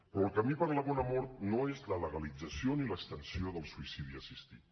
però el camí per a la bona mort no és la legalització ni l’extensió del suïcidi assistit